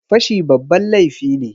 Fashi babban laifi ne.